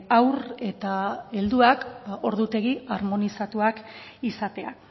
haur eta helduak ordutegi armonizatuak izatea